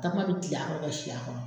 Kakuma be kil'a kɔrɔ ka si a kɔrɔ